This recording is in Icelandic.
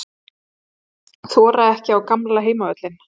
Þora ekki á gamla heimavöllinn